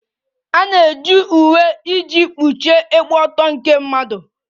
A na-eji uwe iji kpuchie ịgba ọtọ nke mmadụ.